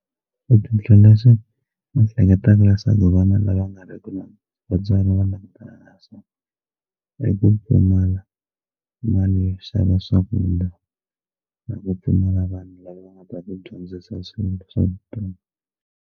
Hleketaka swa vana lava nga ri ki na vatswari va langutanaka na swona i ku pfumala mali yo xava swakudya na ku pfumala vanhu lava nga ta va dyondzisa swilo swa vutomi.